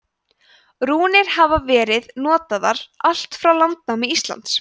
rúnir hafa verið notaðar allt frá landnámi íslands